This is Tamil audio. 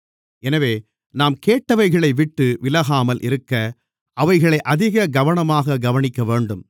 எனவே நாம் கேட்டவைகளைவிட்டு விலகாமல் இருக்க அவைகளை அதிக கவனமாகக் கவனிக்கவேண்டும்